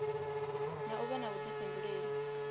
na u vha na vhuḓifhinduleli